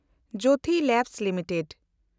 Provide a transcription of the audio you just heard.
Jyothi lab limited